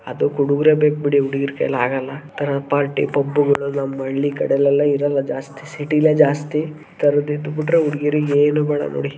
ಅದಕ್ ಹುಡುಗ್ರೇ ಬೇಕ ಬಿಡಿ ಹುಡುಗೀರ್ ಕೈಯಲ್ಲಿ ಆಗಲ್ಲಾ ಆತರ ಪಾರ್ಟಿ ಪಬ್ ಹಳ್ಳಿ ಕಡೆಲ್ಲಾ ಇರಲ್ಲಾ ಜಾಸ್ತಿ ಸಿಟಿಲೆ ಜಾಸ್ತಿ ಈ ತರದ ಇದ್ದ ಬಿಟ್ಟರೆ ಹುಡುಗಿಯರಿಗೆ ಏನು ಬೇಡ ನೋಡಿ.